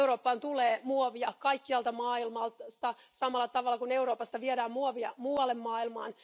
Eurooppaan tulee muovia kaikkialta maailmasta samalla tavalla kuin Euroopasta viedään muovia muualle maailmaan.